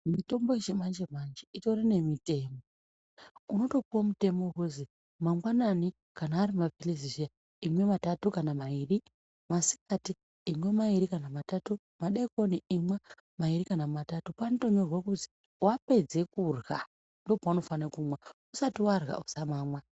Mitombo yechimanje manje itori nemitemo unotopuwa mutemo wekuzi mangwanani kana ari maphilizi zviyani imwe matatu kana mairi , masikati imwe mairi kana matatu , madekoni imwe mairi kana matatu panotonyorwe kuzi wapedzerwa kurya ndopaunofane kumwa , usati warya usamamwa.